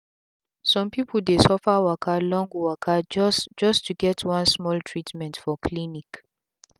sum pipu dey suffer waka long waka just just to get one small treatment for clinic